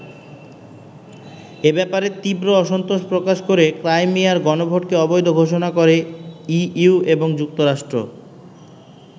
এ ব্যাপারে তীব্র অসন্তোষ প্রকাশ করে ক্রাইমিয়ার গণভোটকে অবৈধ ঘোষণা করে ইইউ এবং যুক্তরাষ্ট্র।